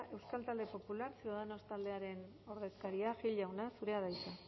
euskal talde popular ciudadanos taldearen ordezkaria gil jauna zurea da hitza